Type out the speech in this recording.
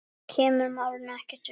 Það kemur málinu ekkert við.